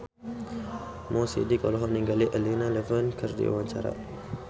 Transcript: Mo Sidik olohok ningali Elena Levon keur diwawancara